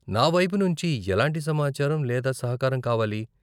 నావైపు నుంచి ఎలాంటి సమాచారం లేదా సహకారం కావాలి?